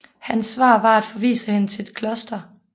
Hans svar var at forvise hende til et kloster